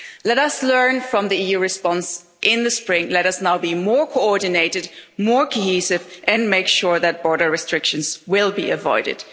Let us learn from the EU response in the spring, let us now be more coordinated, more cohesive and make sure that border restrictions are avoided.